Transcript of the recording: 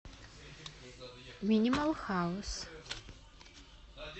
минимал хаус